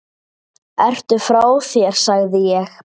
Ertu frá þér sagði ég.